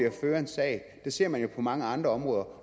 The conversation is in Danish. at føre en sag det ser man jo på mange andre områder